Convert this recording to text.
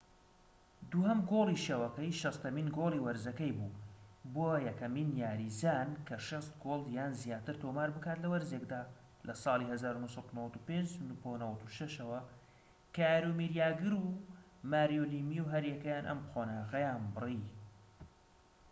دووهەم گۆڵی شەوەکەی، شەستەهەمین گۆڵی وەرزەکەی بوو، بووە یەکەم یاریزان کە ٦٠ گۆڵ یان زیاتر تۆمار بکات لە وەرزێکدا لە ساڵی ١٩٩٥-٩٦ ەوە، کە یارۆمیر یاگر و ماریۆ لیمیو هەریەکەیان ئەم قۆناغەیان بڕی